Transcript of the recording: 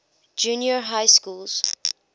junior high schools